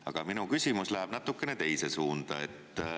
Aga minu küsimus läheb natuke teise suunda.